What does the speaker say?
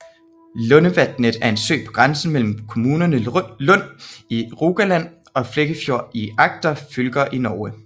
Lundevatnet er en sø på grænsen mellem kommunerne Lund i Rogaland og Flekkefjord i Agder fylker i Norge